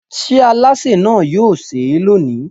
Ṣé alásè náà yóò sè é lónìí?